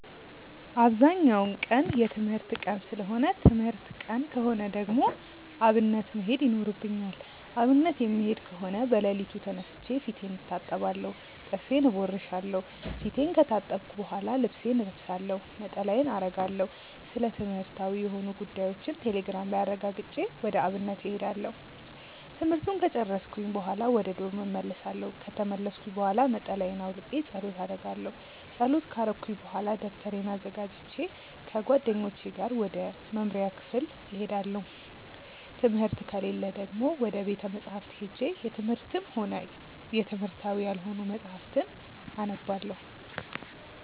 አብዛኛው ቀን የትምህርት ቀን ሰለሆነ ትምህርት ቀን ከሆነ ደግሞ አብነት መሄድ ይኖርብኛል። አብነት የምሄድ ከሆነ በለሊቱ ተነስቼ ፊቴን እታጠባለሁ ጥርሴን እቦርሻለው። ፊቴን ከታጠብኩ በሆላ ልብሴን እለብሳለሁ፣ ነጠላዬን አረጋለሁ፣ ስለትምህርትዊ የሆኑ ጉዳዮችን ቴሌግራም ላይ አረጋግጬ ወደ አብነት እሄዳለሁ። ትምህርቱን ከጨርስኩኝ በሆላ ወደ ዶርም እመልሳለው። ከተመለስኩኝ ብሆላ ነጠላየን አውልቄ ፀሎት አረጋለው። ፀሎት ከረኩኝ በሆላ ደብተሬን አዘጋጅቼ ከጓደኞቼ ጋር ወደ መምሪያ ክፍል እሄዳለው። ትምህርት ከሌለ ደግሞ ወደ ቤተ መፅሀፍት ሄጄ የትምህርትም ሆነ የትምህርታዊ ያልሆኑ መፅሀፍትን አነባለው።